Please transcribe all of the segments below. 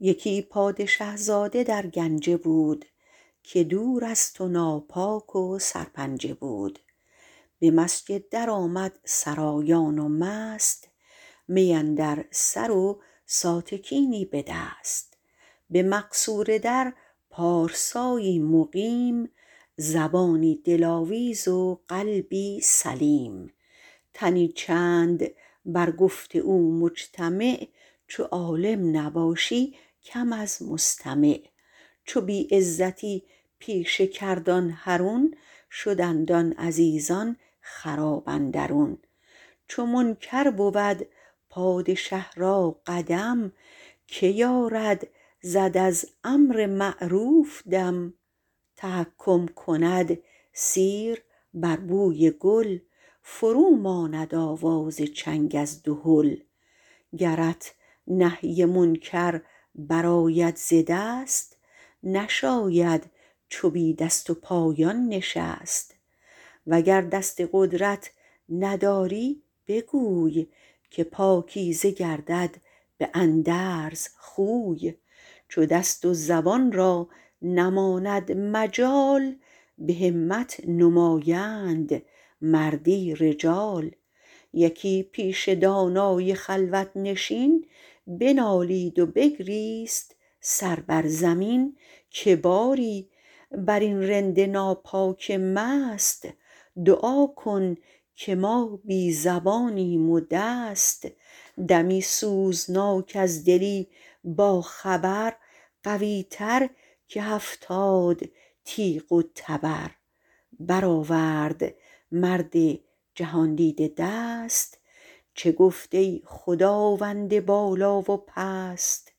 یکی پادشه زاده در گنجه بود که دور از تو ناپاک و سرپنجه بود به مسجد در آمد سرایان و مست می اندر سر و ساتکینی به دست به مقصوره در پارسایی مقیم زبانی دلاویز و قلبی سلیم تنی چند بر گفت او مجتمع چو عالم نباشی کم از مستمع چو بی عزتی پیشه کرد آن حرون شدند آن عزیزان خراب اندرون چو منکر بود پادشه را قدم که یارد زد از امر معروف دم تحکم کند سیر بر بوی گل فرو ماند آواز چنگ از دهل گرت نهی منکر بر آید ز دست نشاید چو بی دست و پایان نشست وگر دست قدرت نداری بگوی که پاکیزه گردد به اندرز خوی چو دست و زبان را نماند مجال به همت نمایند مردی رجال یکی پیش دانای خلوت نشین بنالید و بگریست سر بر زمین که باری بر این رند ناپاک و مست دعا کن که ما بی زبانیم و دست دمی سوزناک از دلی با خبر قوی تر که هفتاد تیغ و تبر بر آورد مرد جهاندیده دست چه گفت ای خداوند بالا و پست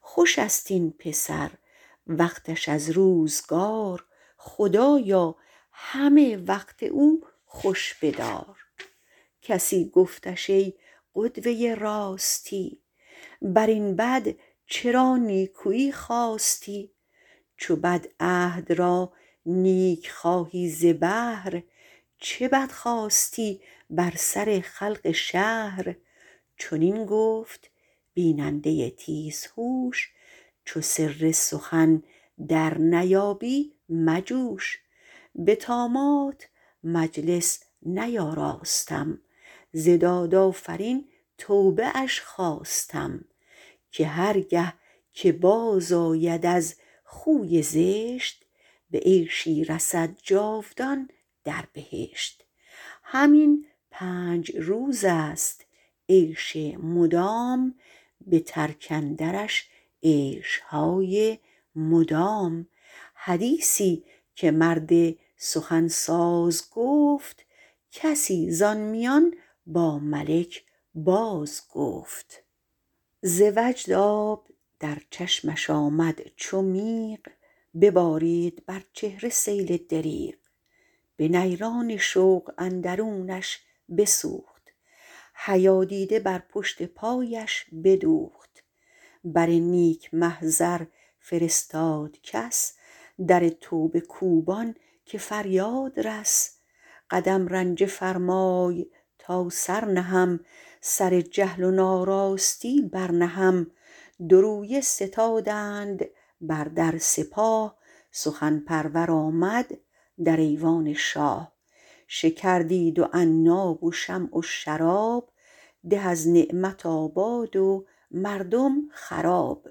خوش است این پسر وقتش از روزگار خدایا همه وقت او خوش بدار کسی گفتش ای قدوه راستی بر این بد چرا نیکویی خواستی چو بد عهد را نیک خواهی ز بهر چه بد خواستی بر سر خلق شهر چنین گفت بیننده تیز هوش چو سر سخن در نیابی مجوش به طامات مجلس نیاراستم ز داد آفرین توبه اش خواستم که هر گه که باز آید از خوی زشت به عیشی رسد جاودان در بهشت همین پنج روز است عیش مدام به ترک اندرش عیشهای مدام حدیثی که مرد سخن ساز گفت کسی ز آن میان با ملک باز گفت ز وجد آب در چشمش آمد چو میغ ببارید بر چهره سیل دریغ به نیران شوق اندرونش بسوخت حیا دیده بر پشت پایش بدوخت بر نیک محضر فرستاد کس در توبه کوبان که فریاد رس قدم رنجه فرمای تا سر نهم سر جهل و ناراستی بر نهم دو رویه ستادند بر در سپاه سخن پرور آمد در ایوان شاه شکر دید و عناب و شمع و شراب ده از نعمت آباد و مردم خراب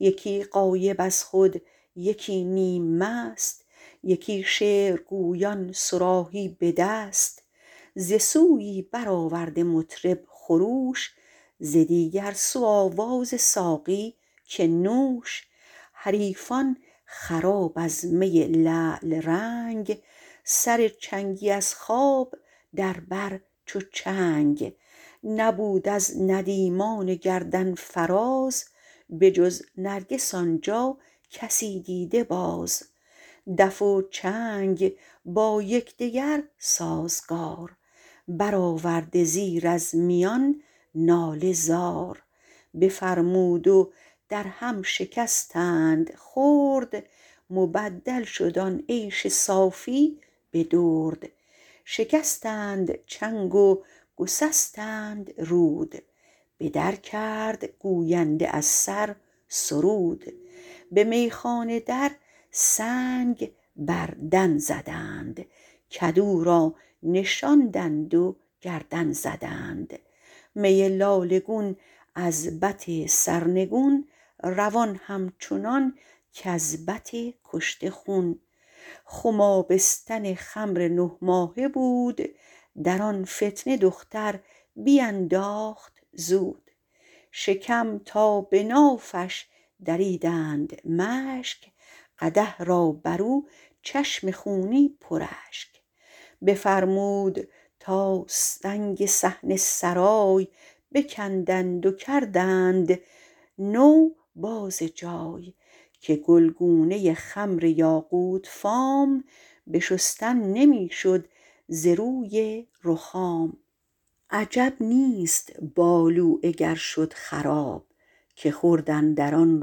یکی غایب از خود یکی نیم مست یکی شعر گویان صراحی به دست ز سویی بر آورده مطرب خروش ز دیگر سو آواز ساقی که نوش حریفان خراب از می لعل رنگ سر چنگی از خواب در بر چو چنگ نبود از ندیمان گردن فراز به جز نرگس آن جا کسی دیده باز دف و چنگ با یکدگر سازگار بر آورده زیر از میان ناله زار بفرمود و در هم شکستند خرد مبدل شد آن عیش صافی به درد شکستند چنگ و گسستند رود به در کرد گوینده از سر سرود به میخانه در سنگ بر دن زدند کدو را نشاندند و گردن زدند می لاله گون از بط سرنگون روان همچنان کز بط کشته خون خم آبستن خمر نه ماهه بود در آن فتنه دختر بینداخت زود شکم تا به نافش دریدند مشک قدح را بر او چشم خونی پر اشک بفرمود تا سنگ صحن سرای بکندند و کردند نو باز جای که گلگونه خمر یاقوت فام به شستن نمی شد ز روی رخام عجب نیست بالوعه گر شد خراب که خورد اندر آن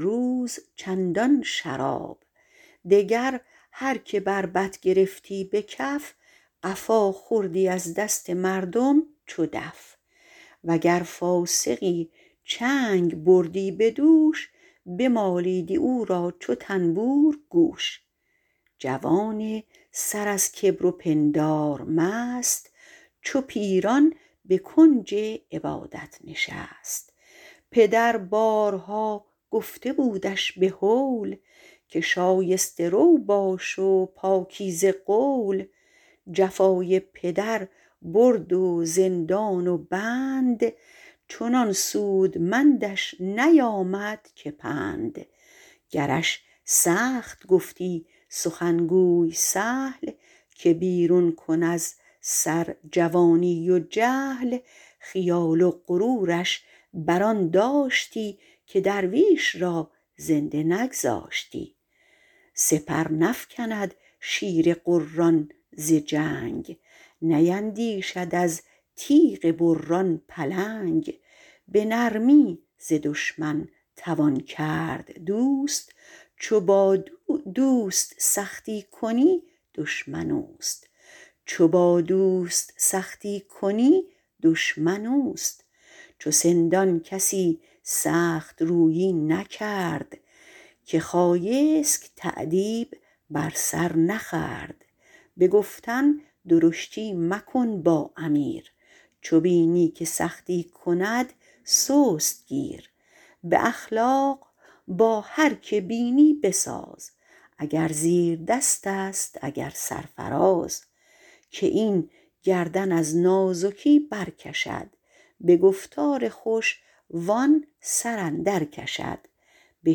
روز چندان شراب دگر هر که بربط گرفتی به کف قفا خوردی از دست مردم چو دف وگر فاسقی چنگ بردی به دوش بمالیدی او را چو طنبور گوش جوان سر از کبر و پندار مست چو پیران به کنج عبادت نشست پدر بارها گفته بودش به هول که شایسته رو باش و پاکیزه قول جفای پدر برد و زندان و بند چنان سودمندش نیامد که پند گرش سخت گفتی سخنگوی سهل که بیرون کن از سر جوانی و جهل خیال و غرورش بر آن داشتی که درویش را زنده نگذاشتی سپر نفکند شیر غران ز جنگ نیندیشد از تیغ بران پلنگ به نرمی ز دشمن توان کرد دوست چو با دوست سختی کنی دشمن اوست چو سندان کسی سخت رویی نکرد که خایسک تأدیب بر سر نخورد به گفتن درشتی مکن با امیر چو بینی که سختی کند سست گیر به اخلاق با هر که بینی بساز اگر زیردست است اگر سرفراز که این گردن از نازکی بر کشد به گفتار خوش و آن سر اندر کشد به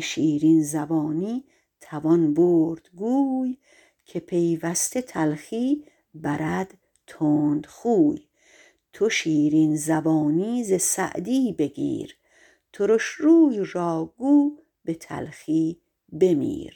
شیرین زبانی توان برد گوی که پیوسته تلخی برد تندخوی تو شیرین زبانی ز سعدی بگیر ترش روی را گو به تلخی بمیر